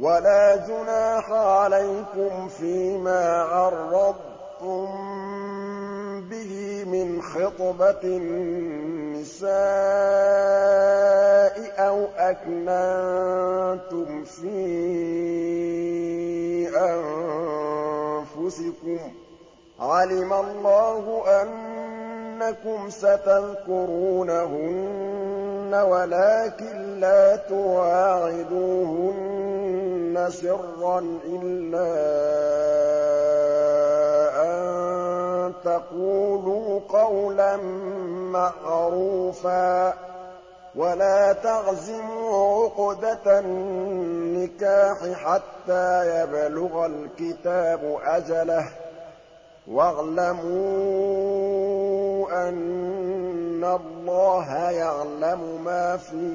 وَلَا جُنَاحَ عَلَيْكُمْ فِيمَا عَرَّضْتُم بِهِ مِنْ خِطْبَةِ النِّسَاءِ أَوْ أَكْنَنتُمْ فِي أَنفُسِكُمْ ۚ عَلِمَ اللَّهُ أَنَّكُمْ سَتَذْكُرُونَهُنَّ وَلَٰكِن لَّا تُوَاعِدُوهُنَّ سِرًّا إِلَّا أَن تَقُولُوا قَوْلًا مَّعْرُوفًا ۚ وَلَا تَعْزِمُوا عُقْدَةَ النِّكَاحِ حَتَّىٰ يَبْلُغَ الْكِتَابُ أَجَلَهُ ۚ وَاعْلَمُوا أَنَّ اللَّهَ يَعْلَمُ مَا فِي